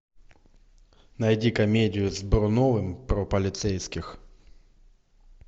найди комедию с бруновым про полицейских